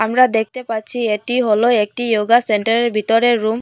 আমরা দেখতে পাচ্ছি এটি হলো একটি ইয়োগা সেন্টারের ভিতরের রুম ।